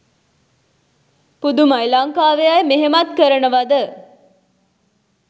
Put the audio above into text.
පුදුමයි ලංකාවේ අය මෙහෙමත් කරනවද?